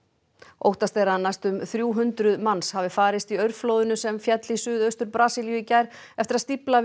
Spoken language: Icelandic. óttast er að næstum þrjú hundruð manns hafi farist í aurflóðinu sem féll í suðaustur Brasilíu í gær eftir að stífla við